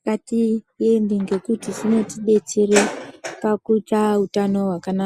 ngatiende ngekuti zvinoti detsere pakuita utano hwakanaka.